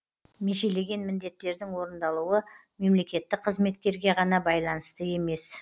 межелеген міндеттердің орындалуы мемлекеттік қызметкерге ғана байланысты емес